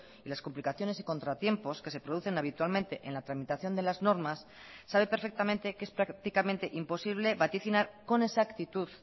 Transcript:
y las complicaciones y contratiempos que se producen habitualmente en la tramitación de las normas sabe perfectamente que es prácticamente imposible vaticinar con exactitud